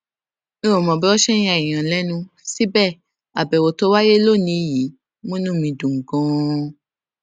n ò mọ bí wọn ṣe n ya èèyàn lẹnu síbẹ àbèwò tó wáyé lónìí yìí múnú mi dùn ganan